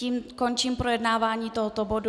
Tím končím projednávání tohoto bodu.